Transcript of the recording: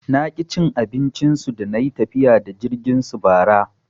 Naki cin abincin su dana yi tafiya da jirgin su bara.